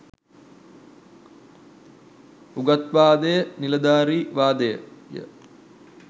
උගත්වාදය නිලධාරීවාදය